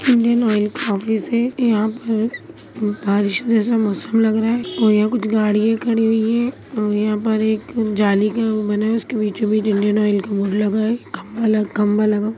Indian Oil का office है यहां पर बारिश जैसा मौसम लग रहा है और यहां कुछ गाड़ियां खड़ी हुई हैं और यहां पर एक जाली का एक वो बना है उसके बीचों-बीच इंडियन ऑइल का बोर्ड लगा है खंभा लग खंभा लगा --